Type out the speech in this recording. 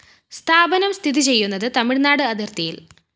സ്ഥാപനം സ്ഥിതിചെയ്യുന്നത് തമിഴ്‌നാട് അതിര്‍ത്തിയില്‍